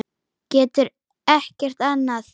Getur ekkert annað.